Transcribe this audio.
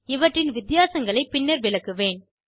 இவற்றின் வித்தியாசங்களைப் பின்னர் விளக்குவேன்